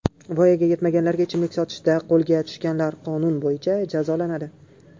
Voyaga yetmaganlarga ichimlik sotishda qo‘lga tushganlar qonun bo‘yicha jazolanadi.